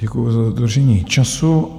Děkuju za dodržení času.